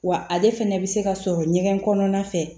Wa ale fɛnɛ bɛ se ka sɔrɔ ɲɛgɛn kɔnɔna fɛ